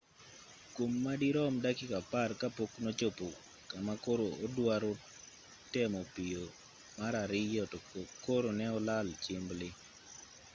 kwom madirom dakika apar ka pok nochopo kama koro oduaro temo piyo mar ariyo to koro ne olal chimbli